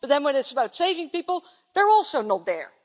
But then when it is about saving people they're also not there.